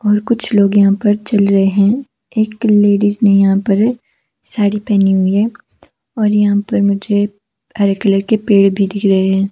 और कुछ लोग यहां पर चल रहे है एक लेडीस ने यहां पर साड़ी पहनी हुई है और यहां पर मुझे हरे कलर के पेड़ भी दिख रहे है।